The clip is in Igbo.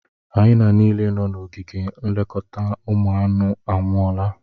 Hayana niile nọ n'ogige nlekọta ụmụ anụ anwụọla.